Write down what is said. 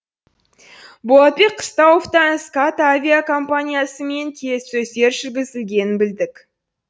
болатбек қыстауовтан скат авиакомпаниясымен келіссөздер жүргізілгенін білдік